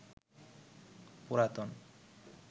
পুরাতন